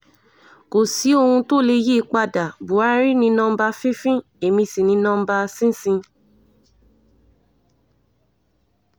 kò sí ohun tó lè tó lè yí i padà buhari ní nọmba fífín èmi sí ní nọmba sísìn